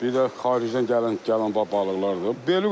Bir də xaricdən gələn, gələn balıqlardır.